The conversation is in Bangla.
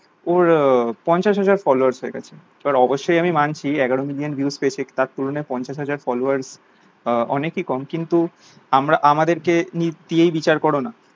ওর পঞ্চাশ হাজার followers হয়ে গেল এবার অবসসই আমি মানছি এগারো millions views পেয়েছে তার তুলনায় পঞ্চাশ হাজার followers আহ অনেক ই কম কিন্তু আমরা আমাদের কে দিয়েই বিচার করোনা